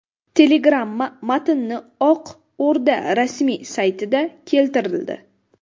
Telegramma matni Oq O‘rda rasmiy saytida keltirildi .